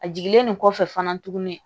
A jiginlen nin kɔfɛ fana tuguni